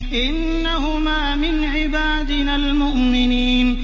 إِنَّهُمَا مِنْ عِبَادِنَا الْمُؤْمِنِينَ